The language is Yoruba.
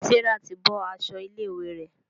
Serah tí bó aṣọ ilé ìwé rẹ.